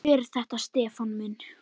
Hver er það Stefán minn?